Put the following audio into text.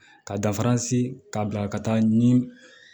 Ka da ka bila ka taa ni